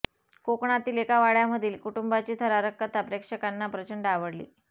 कोकणातील एका वाड्यामधील कुटुंबाची थरारक कथा प्रेक्षकांना प्रचंड आवडली